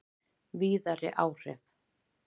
Víðari áhrif